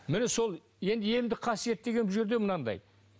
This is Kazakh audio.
міне сол енді емдік қасиет деген бұл жерде мынандай